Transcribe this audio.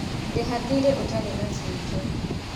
Rĩha thirĩ ũtarĩ na bujo